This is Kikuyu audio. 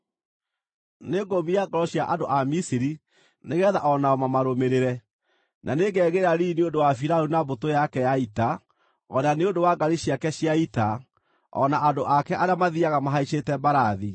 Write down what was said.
Nĩngũũmia ngoro cia andũ a Misiri nĩgeetha o nao mamarũmĩrĩre. Na nĩngegĩĩra riiri nĩ ũndũ wa Firaũni na mbũtũ yake ya ita, o na nĩ ũndũ wa ngaari ciake cia ita, o na andũ ake arĩa mathiiaga mahaicĩte mbarathi.